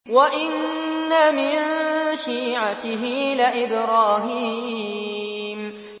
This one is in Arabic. ۞ وَإِنَّ مِن شِيعَتِهِ لَإِبْرَاهِيمَ